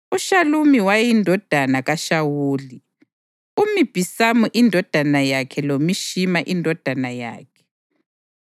uShalumi wayeyindodana kaShawuli, uMibhisamu indodana yakhe loMishima indodana yakhe.